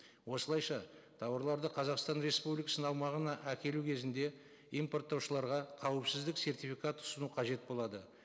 осылайша тауарларды қазақстан республикасының аумағына әкелу кезінде импорттаушыларға қауіпсіздік сертификат ұсыну қажет болады